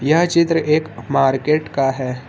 यह चित्र एक मार्केट का है।